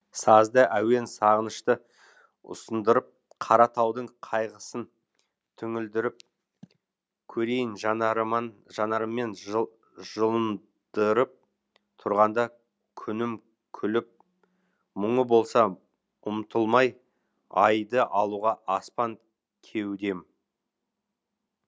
сазды әуен сағынышты ұсындырып қара таудың қайғысын түңілдіріп көрейін жанарыммен жылындырып тұрғанда күнім күліп мұңы болса ұмтылмай айды алуға аспан кеудем